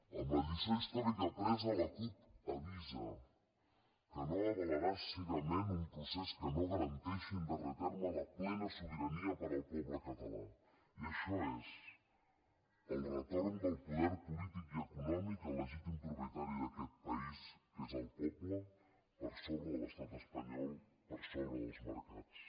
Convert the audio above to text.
amb la lliçó històrica apresa la cup avisa que no avalarà cegament un procés que no garanteixi en darrer terme la plena sobirania per al poble català i això és el retorn del poder polític i econòmic al legítim propietari d’aquest país que és el poble per sobre de l’estat espanyol per sobre dels mercats